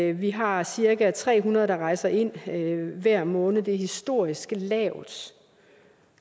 at vi har cirka tre hundrede der rejser ind hver måned det er historisk lavt